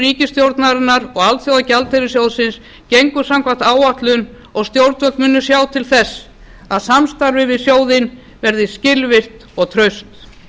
ríkisstjórnarinnar og alþjóðagjaldeyrissjóðsins gengur samkvæmt áætlun og stjórnvöld munu sjá til þess að samstarfið við sjóðinn verði skilvirkt og traust